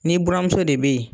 Ni buranmuso de bɛ yen.